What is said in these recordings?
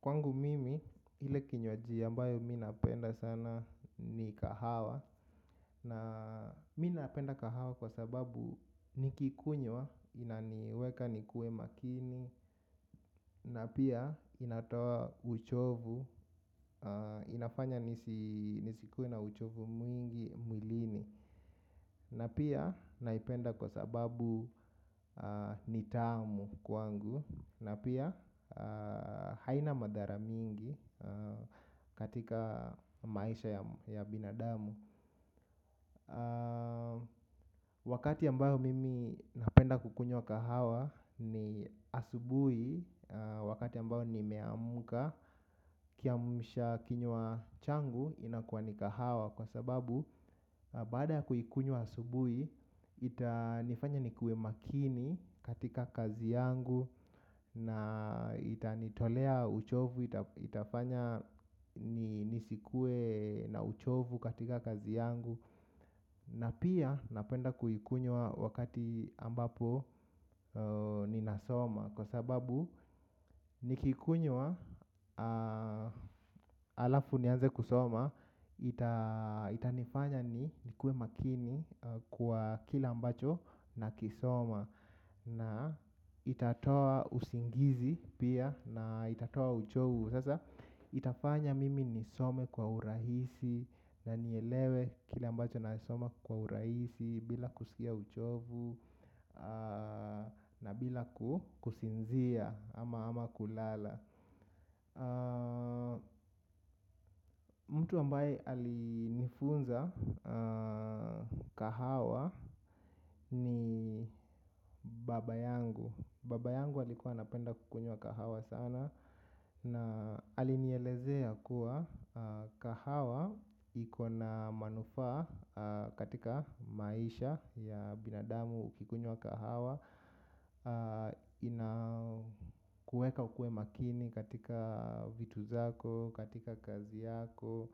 Kwangu mimi, ile kinywaji ambayo mi napenda sana ni kahawa. Na mi napenda kahawa kwa sababu nikikunywa, inaniweka nikuwe makini, na pia inatoa uchovu, inafanya nisikuwe na uchovu mwingi mwilini. Na pia naipenda kwa sababu ni tamu kwangu. Na pia haina madara mingi katika maisha ya binadamu. Wakati ambayo mimi napenda kukunywa kahawa ni asubuhi. Wakati ambayo nime amka kiamshakinywa changu inakuwa ni kahawa. Kwa sababu baada ya kuikunywa asubuhi itanifanya nikuwe makini katika kazi yangu. Na itanitolea uchovu. Itafanya nisikue na uchovu katika kazi yangu. Na pia napenda kuikunywa wakati ambapo ninasoma. Kwa sababu niki ikunywa alafu nianze kusoma ita. Itanifanya nikuwe makini kwa kila ambacho na kisoma. Na itatoa usingizi pia na itatoa uchovu. Sasa itafanya mimi nisome kwa urahisi. Na nielewe kila ambacho na soma kwa urahisi. Bila kusikia uchovu na bila kusinzia ama ama kulala. Mtu ambaye alinifunza kahawa ni baba yangu. Baba yangu alikuwa anapenda kukunywa kahawa sana. Na alinielezea kuwa kahawa ikona manufaa katika maisha ya binadamu uki kunywa kahawa. Inakueka ukue makini katika vitu zako, katika kazi yako.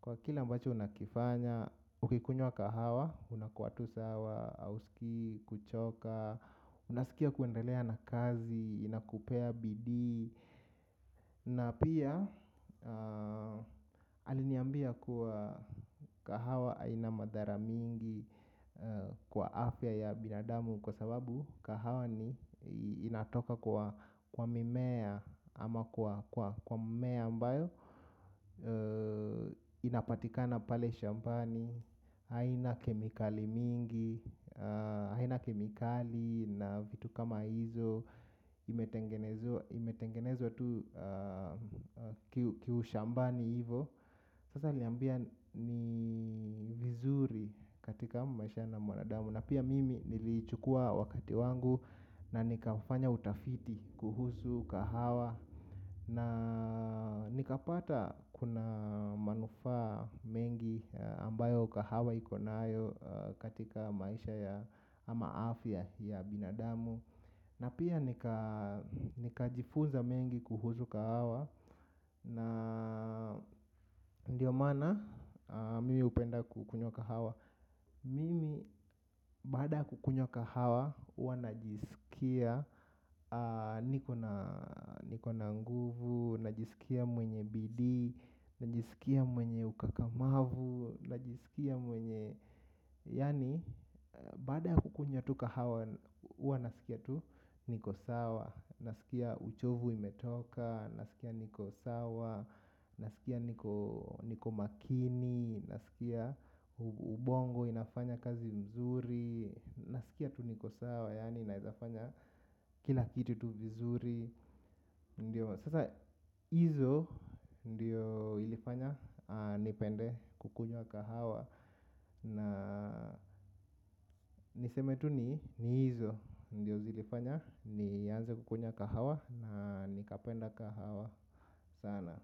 Kwa kila mbacho unakifanya. Ukikunye wa kahawa, unakua tu sawa, hausiki, kuchoka. Unasikia kuendelea na kazi, inakupea bidii. Na pia, aliniambia kuwa kahawa aina madhara mingi kwa afya ya binadamu kwa sababu kahawa ni inatoka kwa mimea ama kwa mmea ambayo inapatikana pale shambani, haina kemikali mingi, haina kemikali na vitu kama hizo imetengenezwa tu kiushambani hivo. Sasa ali niambia ni vizuri katika maisha na mwanadamu. Na pia mimi nilichukua wakati wangu na nikafanya utafiti kuhusu kahawa. Na nikapata kuna manufa mengi ambayo kahawa iko nayo katika maisha ya ama afya ya binadamu. Na pia nikajifunza mengi kuhusu kahawa. Na ndio mana mimi hupenda kukunywa kahawa. Mimi bada kukunywa kahawa huwanajisikia nikona nguvu, najisikia mwenye bidii, najisikia mwenye ukakamavu, najisikia mwenye yani, baada ya kukunya tu kahawa, huwa nasikia tu niko sawa. Nasikia uchovu imetoka, nasikia niko sawa. Nasikia niko makini, nasikia ubongo inafanya kazi mzuri. Nasikia tu niko sawa, yani naezafanya kila kiti tu vizuri ndio sasa hizo ndio ilifanya nipende kukunywa kahawa. Na niseme tu ni hizo. Ndiyo zilifanya. Nianze kukunywa kahawa. Na nikapenda kahawa sana.